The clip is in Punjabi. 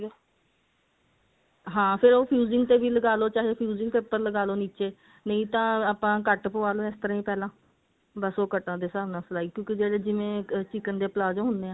ਹਾਂ ਫੇਰ ਉਹ fusing ਤੇ ਵੀ ਲਗਾਲੋ ਚਾਹੇ fusing ਦੇ ਉੱਪਰ ਲਗਾਲੋ ਨਿੱਚੇ ਨਹੀਂ ਤਾਂ ਆਪਾਂ cut ਪਵਾਲੋ ਇਸ ਤਰ੍ਹਾਂ ਹੀ ਪਹਿਲਾਂ ਬਸ ਉਹ ਕਟਾਂ ਦੇ ਹਿਸਾਬ ਨਾਲ ਸਿਲਾਈ ਕਿਉਂਕਿ ਜਦੋਂ ਜਿਵੇਂ chicken ਦੇ palazzo ਹੁੰਦੇ ਨੇ